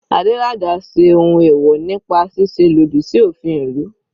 Adelaja ṣe ohun ẹ̀wọ̀ nípa ṣíṣe lòdì sí òfin ìlú.